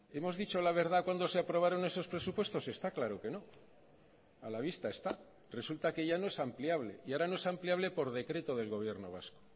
hemos dicho la verdad cuando se aprobaron esos presupuestos está claro que no a la vista está resulta que ya no es ampliable y ahora no es ampliable por decreto del gobierno vasco